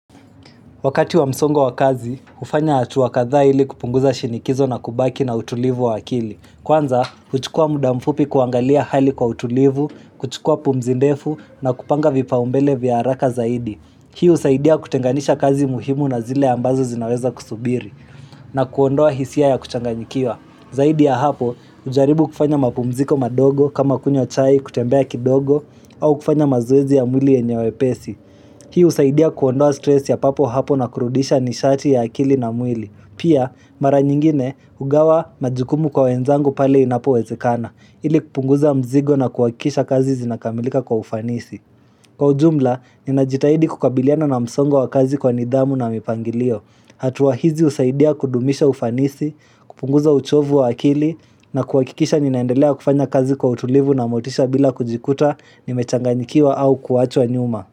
Wakati wa msongo wa kazi, hufanya hatua kadhaa ili kupunguza shinikizo na kubaki na utulivu wa akili. Kwanza, huchukua muda mfupi kuangalia hali kwa utulivu, kuchukua pumzi ndefu na kupanga vipaumbele vya haraka zaidi. Hii husaidia kutenganisha kazi muhimu na zile ambazo zinaweza kusubiri, na kuondoa hisia ya kuchanganyikiwa. Zaidi ya hapo, hujaribu kufanya mapumziko madogo kama kunyws chai kutembea kidogo au kufanya mazoezi ya mwili yenye wepesi. Hii husaidia kuondoa stress ya papo hapo na kurudisha nishati ya akili na mwili. Pia, mara nyingine, hugawa majukumu kwa wenzangu pale inapowezekana, ili kupunguza mzigo na kuhakikisha kazi zinakamilika kwa ufanisi. Kwa ujumla, ninajitahidi kukabiliana na msongo wa kazi kwa nidhamu na mipangilio. Hatua hizi husaidia kudumisha ufanisi, kupunguza uchovu wa akili, na kuhakikisha ninaendelea kufanya kazi kwa utulivu na motisha bila kujikuta, nimechanganyikiwa au kuachwa nyuma.